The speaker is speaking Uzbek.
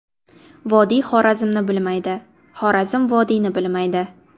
Vodiy Xorazmni bilmaydi, Xorazm vodiyni bilmaydi.